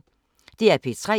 DR P3